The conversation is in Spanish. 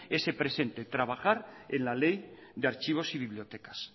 ese presente trabajar en la ley de archivos y bibliotecas